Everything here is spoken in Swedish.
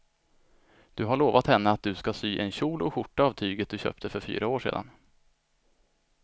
Du har lovat henne att du ska sy en kjol och skjorta av tyget du köpte för fyra år sedan.